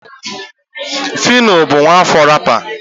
phyno bụ nwaafọ rapper.